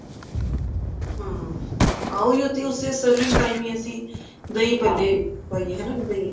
ਹਮ ਉਹੀ ਹੈ ਤੇ ਉਸੀ serving time ਹੀ ਅਸੀਂ ਦਹੀਂ ਪਾਈ ਏ ਹਨਾ